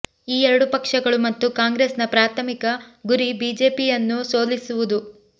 ಈ ಎರಡು ಪಕ್ಷಗಳು ಮತ್ತು ಕಾಂಗ್ರೆಸ್ನ ಪ್ರಾಥಮಿಕ ಗುರಿ ಬಿಜೆಪಿಯನ್ನು ಸೋಲಿಸುವುದು